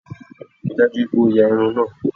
Ríi dájú pé o ya irun náà!